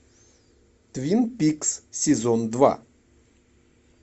твин пикс сезон два